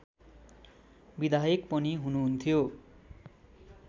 विधायक पनि हुनुहुन्थ्यो